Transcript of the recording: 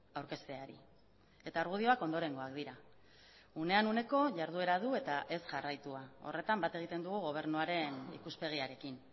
aurkezteari eta argudioak ondorengoak dira unean uneko jarduera du eta ez jarraitua horretan bat egiten dugu gobernuaren ikuspegiarekin